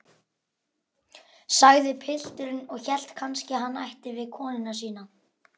sagði pilturinn og hélt kannski hann ætti við konuna sína.